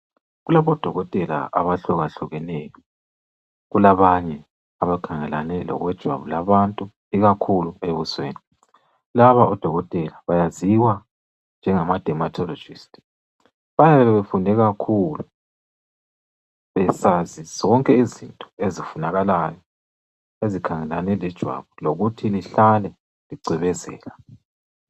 Kulabodoko abahlukahlukeneyo, kulabanye abakhangelane lokwejwabu labantu ikakhulu ebusweni, laba odokotela bayaziwa njengama dermatologist bayabebefunde kakhulu, besazi zonke izinto ezifunakalayo ezikhangelane lejwabu lokuthi lihlale licwebezela.